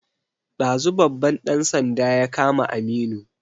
Ɗazu babban ɗan sanda ya kama Aminu